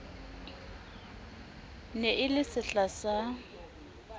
ne e le sehla sa